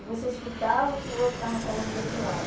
E você escutava o que o outro estava falando do outro lado.